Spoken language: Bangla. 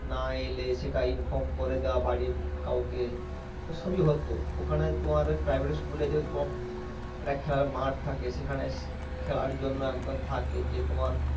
না এলে সেটা inform করে দেওয়া বাড়ির কাউকে সবি হত ওখানে তোমার private school এ যেহেতু তোমার একটা খেলার মাঠ থাকে সেখানে খেলার জন্য একজন থাকে যে তোমার